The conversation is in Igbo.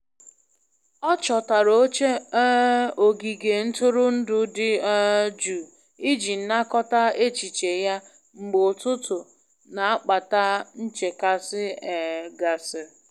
Ọ chọtara oche um ogige ntụrụndụ dị um jụụ iji nakọta echiche ya mgbe ụtụtụ n'akpata nchekasị um gasịrị.